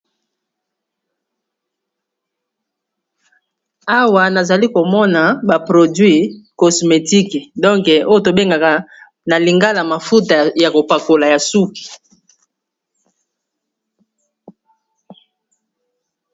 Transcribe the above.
Awa nazali komona baproduit cosmetike donke oyo tobengaka na lingala mafuta ya kopakola ya suki.